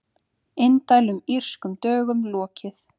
Indælum Írskum dögum lokið